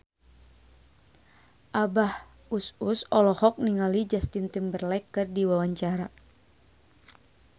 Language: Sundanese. Abah Us Us olohok ningali Justin Timberlake keur diwawancara